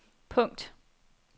punkt